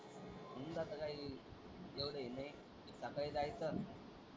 हम्म तस काय एवढं हि नाही सकाळी जायचं.